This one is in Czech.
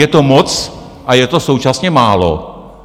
Je to moc a je to současně málo.